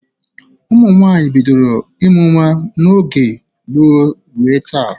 Ụmụ nwaanyị bidoro ịmụ nwa n'oge gboo ruo taa.